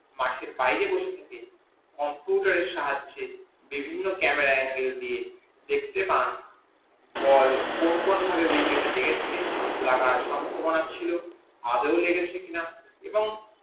মাঠের বাইরে থেকে computer এর সাহায্যে বিভিন্ন camera ই দিয়ে দেখতে পান বল কোন কোন ভাবে wicket এ লেগেছে লাগার সম্ববনা ছিল এবং আদেও লেগেছে কি না এবং